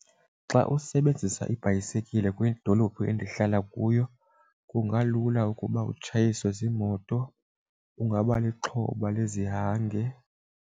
Xa usebenzisa ibhayisekile kwidolophu endihlala kuyo kungalula ukuba utshayisiwe ziimoto, ungaba lixhoba lezihange.